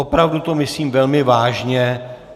Opravdu to myslím velmi vážně.